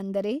ಅಂದರೆ